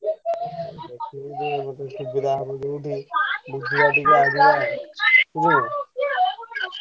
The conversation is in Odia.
ଦେଖିବି ଯୋଉ ସୁବିଧା ହବ ଯୋଉଠି ବୁଝିବା ଟିକେ ଆଣିବା।